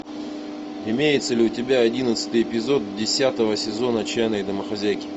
имеется ли у тебя одиннадцатый эпизод десятого сезона отчаянные домохозяйки